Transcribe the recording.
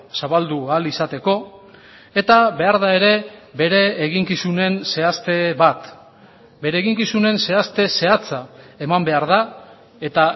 zabaldu ahal izateko eta behar da ere bere eginkizunen zehazte bat bere eginkizunen zehazte zehatza eman behar da eta